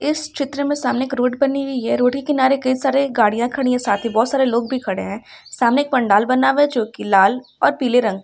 चित्र में सामने एक रोड बनी हुई है रोड के किनारे कई सारी गाड़ियां खड़ी हैं साथ ही बहोत सारे लोग भी खड़े हैं सामने एक पंडाल बना हुआ है जोकि लाल और पीले रंग का है।